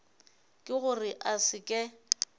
ke gore a se ke